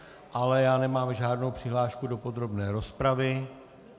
Ale já nemám žádnou přihlášku do podrobné rozpravy.